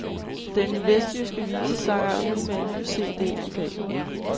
Den vestjyske visesanger er ude med en ny cd i dag.